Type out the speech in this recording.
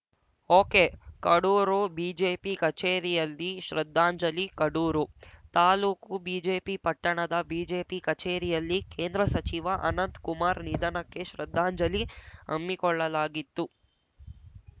ಒಕೆಕಡೂರು BJP ಕಚೇರಿಯಲ್ಲಿ ಶ್ರದ್ಧಾಂಜಲಿ Kadur taluk BJP ಪಟ್ಟಣದ ಬಿಜೆಪಿ ಕಚೇರಿಯಲ್ಲಿ ಕೇಂದ್ರ ಸಚಿವ ಅನಂತ್‌ ಕುಮಾರ್‌ ನಿಧನಕ್ಕೆ ಶ್ರದ್ದಾಂಜಲಿ ಹಮ್ಮಿಕೊಳ್ಳಲಾಗಿತ್ತು